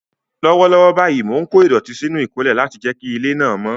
Lọ́wọ́lọ́wọ́ báyìí, mò ń kó ìdọ̀tí sínú ìkólẹ̀ láti jẹ́ kí ilé náà mọ́.